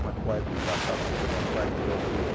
Uma quarta de batata, quer dizer, uma quarta de alqueire.